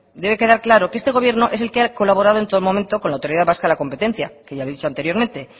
debe quedar claro que este gobierno es el que ha colaborado en todo momento con la autoridad vasca de la competencia que ya he dicho anteriormente